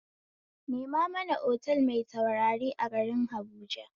Nema mana otal mai taurari a garin habuja